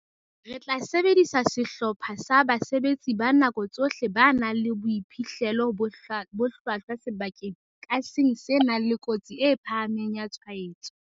"Re tla sebedisa sehlopha sa basebetsi ba nako tsohle ba nang le boiphihlelo bo hlwahlwa sebakeng ka seng se nang le kotsi e phahameng ya tshwaetso."